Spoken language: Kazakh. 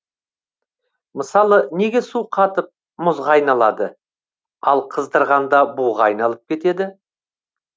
мысалы неге су қатып мұзға айналады ал қыздырғанда буға айналып кетеді